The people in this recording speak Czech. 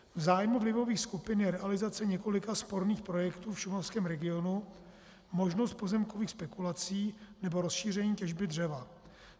V zájmu vlivových skupin je realizace několika sporných projektů v šumavském regionu, možnost pozemkových spekulací nebo rozšíření těžby dřeva.